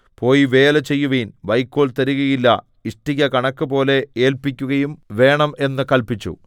പോയി വേല ചെയ്യുവിൻ വൈക്കോൽ തരുകയില്ല ഇഷ്ടിക കണക്കുപോലെ ഏല്പിക്കുകയും വേണം എന്ന് കല്പിച്ചു